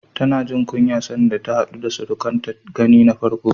Tana jin kunya sanda ta haɗu da surukanta gani na farko.